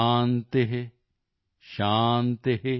ਸ਼ਾਂਤੀ ਸ਼ਾਂਤੀ॥